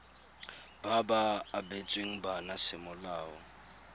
ba ba abetsweng bana semolao